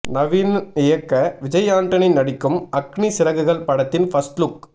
நவீன் இயக்க விஜய் ஆண்டனி நடிக்கும் அக்னி சிறகுகள் படத்தின் பர்ஸ்ட் லுக்